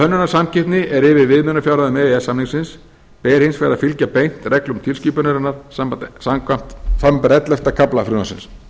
hönnunarsamkeppni er yfir viðmiðunarfjárhæðum e e s samningsins ber hins vegar að fylgja beint reglum tilskipunarinnar samanber ellefta kafla frumvarpsins